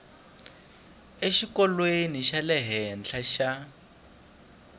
exikolweni xa le henhla xa